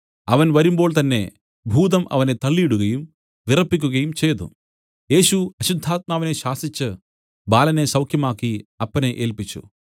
അവൻ വരുമ്പോൾ തന്നേ ഭൂതം അവനെ തള്ളിയിടുകയും വിറപ്പിക്കുകയും ചെയ്തു യേശു അശുദ്ധാത്മാവിനെ ശാസിച്ചു ബാലനെ സൌഖ്യമാക്കി അപ്പനെ ഏല്പിച്ചു